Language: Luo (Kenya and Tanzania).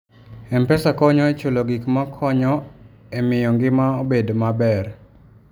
M-Pesa konyo e chulo gik ma konyo e miyo ngima obed maber.